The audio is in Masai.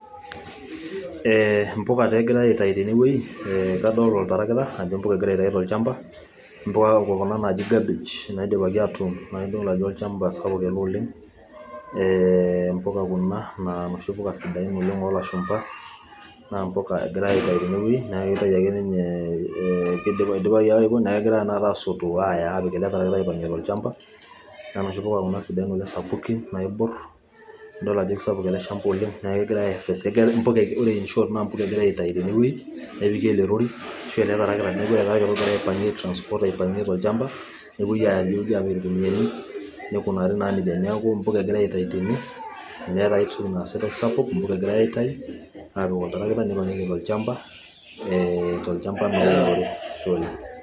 impuka taa egirae aaetayu tiatua olchampa, impuka kuna naaji cabbage naidipaki atuun, nadol ajo olchampa ele sapuk oleng, ee impika kuna naa inoshi puka sidain oleng, oolashumpa. naa mpuka egirae aetayu tenewueji. naa intayu ake, nidipaki neeku kegirae tenakata aasotu aaya aapik ele tarakita aaipang'ie tolchampa, naa ioshi puka kuna sidain oleng naaibor, nidol ajo kisapuk ele shampa oleng, naa kegirae aekes, ore inshort naa mpuka egirae ae tayu tene wueji nepiki ele rori ashu ele tarakita, neeku ele tarakita ogira aipangie kuna puka tene wueji tolchampa nepuoi aaya tene, nikunari naa nejia.